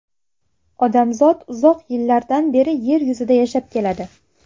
Odamzot uzoq yillardan beri yer yuzida yashab keladi.